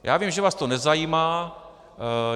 Já vím, že vás to nezajímá.